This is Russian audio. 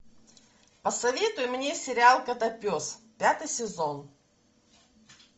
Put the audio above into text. посоветуй мне сериал котопес пятый сезон